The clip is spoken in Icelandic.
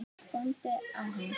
Góndi á hann.